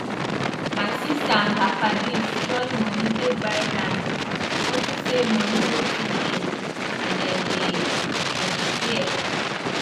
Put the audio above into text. anytime we join fowl we dey check how heavy the egg be how strong the shell strong and how the fowl dey grow.